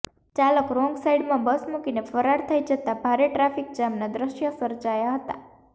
ચાલક રોંગસાઇડમાં બસ મુકીને ફરાર થઇ જતા ભારે ટ્રાફીક જામના દ્રશ્યો સર્જાયા હતા